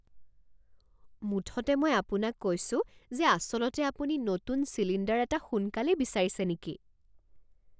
মুঠতে মই আপোনাক কৈছোঁ যে আচলতে আপুনি নতুন চিলিণ্ডাৰ এটা সোনকালেই বিচাৰিছে নেকি?